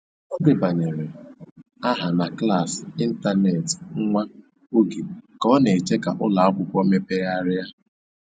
Ọ debanyere aha na klaasị ịntanetị nwa oge ka ọ na-eche ka ụlọ akwụkwọ mepegharịa.